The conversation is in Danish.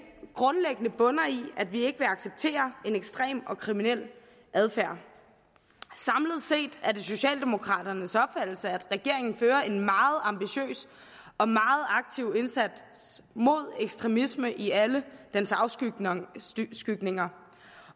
grundlæggende bunder i at vi ikke vil acceptere en ekstrem og kriminel adfærd samlet set er det socialdemokraternes opfattelse at regeringen fører en meget ambitiøs og meget aktiv indsats mod ekstremisme i alle dens afskygninger